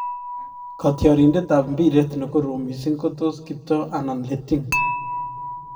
Kaytrarindet ap mpiret nekorom missing kotos Kiptoo anan Letting?